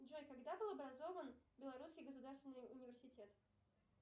джой когда был образован белорусский государственный университет